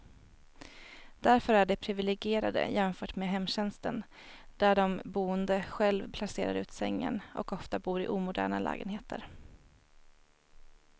Därför är de priviligierade jämfört med hemtjänsten där de boende själv placerar ut sängen, och ofta bor i omoderna lägenheter.